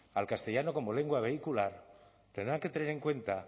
al castellano como lengua vehicular tendrán que tener en cuenta